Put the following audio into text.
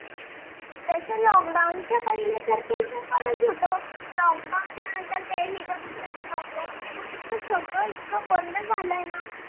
lock down च्या पहिले तर ते जवळच होत lock down च्या नंतर तर ते हि बंद झाल lock down च्या नंतर सगळ इतक बंद झाल आहे ना?